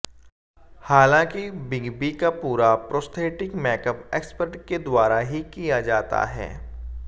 हालांकि big B का पूरा प्रोस्थेटिक मेकअप एक्सपर्ट के द्वारा ही किया जाता है